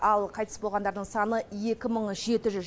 ал қайтыс болғандардың саны екі мың жеті жүз